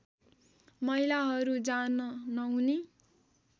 महिलाहरू जान नहुने